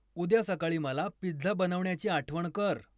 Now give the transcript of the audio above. उद्या सकाळी मला पिझ्झा बनवण्याची आठवण कर